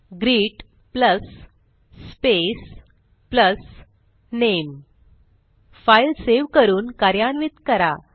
greet plus space plus नामे file save करून कार्यान्वित करा